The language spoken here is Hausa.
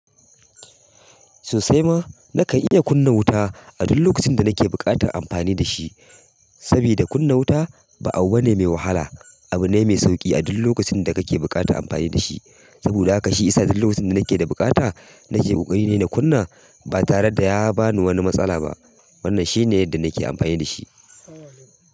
Sosai ma na kan iya kunna wuta a duk lokacin da nake buƙatar amfani da shi, sabida kunna wuta ba abu ba ne mai wahala, abu ne mai sauƙi a duk lokacin da kake buƙatar amfani da shi. Saboda haka shi isa duk lokacin da nake da bukata nake ƙoƙari ne na kunna ba tare da ya bani wani matsala ba. Wannan shi ne yadda nake amfani da shi.